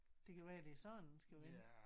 Det kan være det er sådan den skal vende